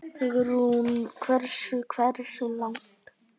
Hugrún: Hversu, hversu langt?